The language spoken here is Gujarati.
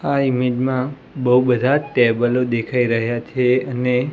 આ ઇમેજ મા બો બધા ટેબલો દેખાય રહ્યા છે અને--